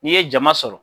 N'i ye jama sɔrɔ